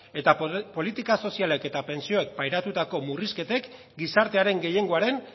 eta politika sozialek eta pentsioen pairatutako murrizketen gizartearen gehiengoaren